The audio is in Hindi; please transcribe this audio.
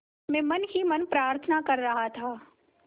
मैं मन ही मन प्रार्थना कर रहा था